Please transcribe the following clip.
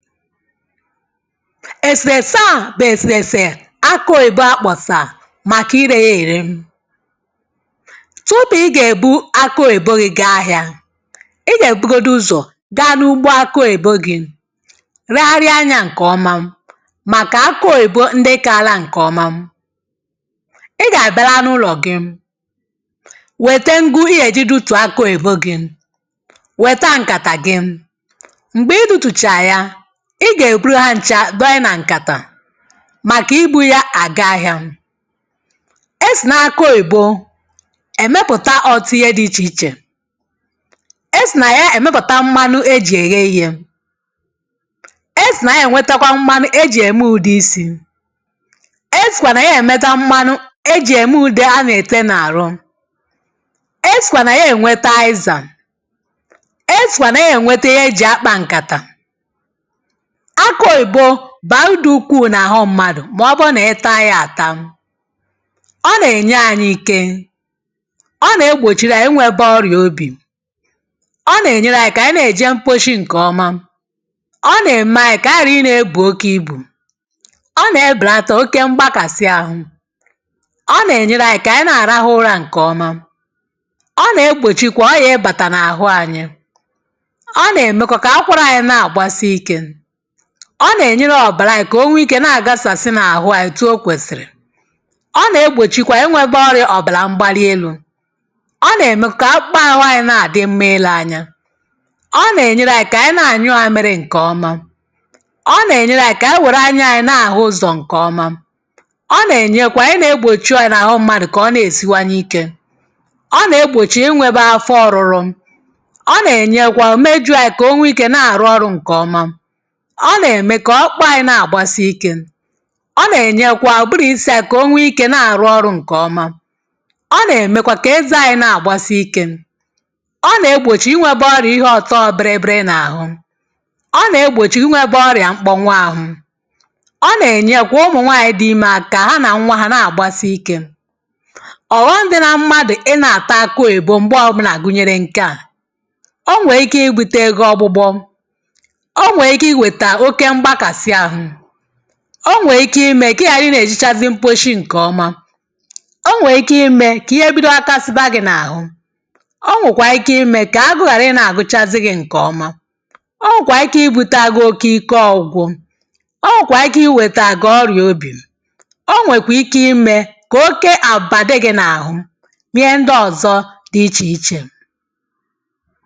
Èsèrèsa à bụ̀ èsèrèsè aku oyìbo akpọ̀sà màki irē ya ère. Tupu ị gèbu akụoyìbo gī gaa ahiā. Ị gèbugodi ụzọ̀ gaa nugbo akụ oyìbo gī ria ria anyā ǹkọ̀ọma màkà akụoyìbo ndị kaala ǹkọ̀ọma Ị gàbala n’ụlọ̀ gị wète nguu ị gèji dutùo akụoyìbo gị̄ wèta ǹkàtà gị, m̀gbè idūtùchà ya Ị gèbulu ha nchā donye nà ǹkàtà màka ibū yā àga ahịā. E sì n’akụoyìbo èmepùta ọ̀tụtụ ihe dī ichè ichè esì nà ya èmepùta mmanu ejì èye iyē esì nà ya ènwetakwa mmanu ejì ème ùdiisī, esìkwà nà ya èmeta mmanu ejì ème ùde a nète n’àru esìkwà nà ya ènweta àizàà esìkwà nà ya ènweta ihe ejì akpā ǹkàtà Akụoyìbo bàrudu ukwuù nà àhụ mmadụ̀ mọ̀bụ nị taa yā àta Ọ nènye ànyi ike Ọ nègbochiri anyi inwēbē ọrịà obì Ọ nènyere ànyi aka kànyị n’eèje mposhi ǹkọ̀ọma Ọ nème anyi kànyi hàra ị nēbù oke ibù Ọ nèbèlata oke mgbakàsi ahụ̄ Ọ nènyere anyi kànyi na-àrahụ ụrā ǹkọ̀ọma Ọ nègbochikwa ọrịà ịbàtà n’àhụ anyi Ọ nèmekwa kà akwarā anyị nagbàsi ikē Ọ nènyere ọ̀bàranyī kò o nwee ikē na-àgasàsị n’àhụ anyī otu o kwèsìrì Ọ nègbòchikwayị̄ inwēbē ọrịā ọ̀bàlà mgbalielū Ọ nème kà akpụkpa àhụ anyī na-àdị mma ilē anyi Ọ nènyeranyi kànyi na-ànyụ àmịrị ǹkọ̀ọma Ọ nènyeranyi kànyi wère anyanyi na-àhụ ụzọ̀ ǹkọ̀ọma Ọ nènyekwa ihe nēgbòchi ọrịà n’àhụ mmadụ̀ kọ̀ ọ ne-èsiwanye ikē. Ọ nè-egbòchi inwēbā afọ ọ̀rụrụ Ọ ǹenyekwa mejụ̀ayị kò o nwee ikē na-àrụ ọrụ̄ ǹkọ̀ọma Ọ nème kọ̀ ọkpụanyī na-àgbasị ikē Ọ nènyekwa ùburū isī anyi kò o nwee ikē na-àrụ ọrụ̄ ǹkọ̀ọma Ọ nèmekwa kè ezanyī nagbàsi ikē Ọ nè-egbòchi inwēbē ọrịā ihe ọ̀tọ bịrị bịrị n’àhu Ọ nè-egbòchi inwēbā ọrià mkpọnwu ahụ Ọ nènyekwa ụmụ̀nwaànyi dị imē aka ha nà nnwa hā à nagbàsi ikē Ọ̀ghọm̄ dị na mmadụ̀ Ị nā-àta akụoyìbo m̀gbọ ọbụlà gùnyèrè ǹke a o nwèè ike ịbūtē gi ọ̀gbụgbọ o nwèè ike iwètà oke mgbakàsị ahụ o nwèè ike imē kị ịghàra ị nē-èjechazi mposhi ǹkọ̀ọma o nwèè ike imē kà ihe bido ghakasiba gī n’àhu O nwèkwàrị̀ ike imē kà agụụ ghàrị ị nā-àgụchazị gī ǹkọ̀ọma O nwèkwà ike ibūtā gi oke ike ògwugwu O nwèkwà ike ị wètà gị ọrịà obì O nwèkwì ike imē kà oke àbụ̀bà dị gị̄ n’àhụ niihe ndị ọ̀zọ dị ichè ichè.